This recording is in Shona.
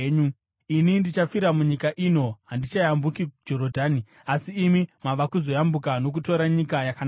Ini ndichafira munyika ino; handichayambuki Jorodhani; asi imi mava kuzoyambuka nokutora nyika yakanaka.